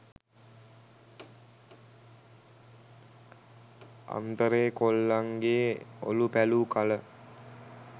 අන්තරේ කොල්ලන්ගේ ඔලූ පැලූ කල